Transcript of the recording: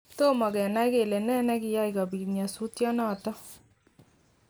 Tomo kenai kele ne nekiyai kobit nyosutyonoton